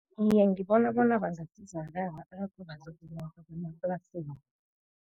Iye, ngibona bona bangasizakala emaplasini.